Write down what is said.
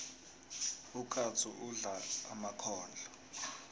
ukatsu udla emakhondlo